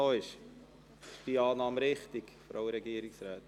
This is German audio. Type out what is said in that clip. Ist diese Annahme richtig, Frau Regierungsrätin?